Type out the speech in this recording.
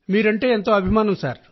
మీకు వీరాభిమానులు సార్